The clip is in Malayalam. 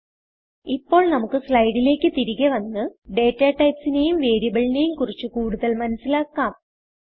ഇപ്പോൾ നമ്മുക്ക് സ്ലൈഡിലേക്ക് തിരികെ വന്ന് datatypeനെയും വേരിയബിളിനെയും കുറിച്ച് കൂടുതൽ മനസിലാക്കാം